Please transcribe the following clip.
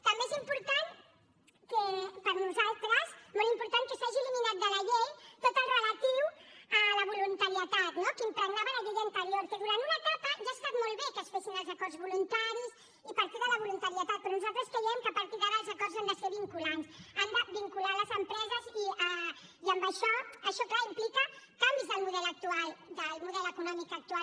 també és important que per nosaltres molt important s’hagi eliminat de la llei tot el que és relatiu a la voluntarietat no que impregnava la llei anterior que durant una etapa ja ha estat molt bé que es fessin els acords voluntaris i partir de la voluntarietat però nosaltres creiem que a partir d’ara els acords han de ser vinculants han de vincular les empreses i això clar implica canvis del model econòmic actual